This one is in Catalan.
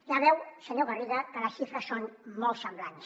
ja ho veu senyor garriga que les xifres són molt semblants